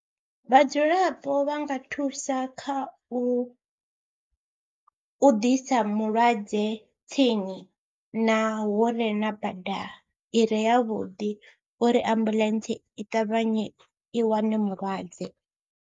Vhadzulapo vha nga thusa kha u u ḓisa mulwadze tsini na hu re na bada i re yavhuḓi uri ambuḽentse i ṱavhanye i wane mulwadze.